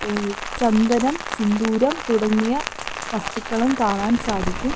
ഏഹ് ചന്ദനം സിന്ദൂരം തുടങ്ങിയ വസ്തുക്കളും കാണാൻ സാധിക്കും.